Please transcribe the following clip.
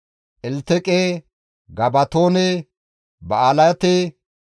Elteqe, Gabatoone, Ba7alaate,